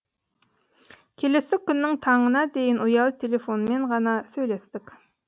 келесі күннің таңына дейін ұялы телефонмен ғана сөйлестік